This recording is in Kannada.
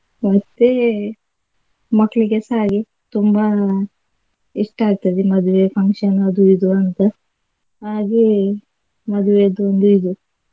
ಮತ್ತೆ ಮಕ್ಳಿಗೆಸ ಹಾಗೆ ತುಂಬಾ ಇಷ್ಟ ಆಗ್ತದೆ ಮದುವೆ function ಅದು ಇದು ಅಂತ ಹಾಗೆ ಮದ್ವೆದು ಒಂದು ಇದು.